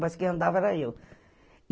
Mas quem andava era eu.